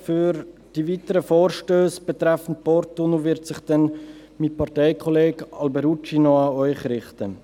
Für die weiteren Vorstösse betreffend den Porttunnel wird sich mein Parteikollege Alberucci noch an Sie richten.